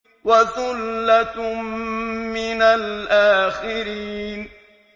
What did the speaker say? وَثُلَّةٌ مِّنَ الْآخِرِينَ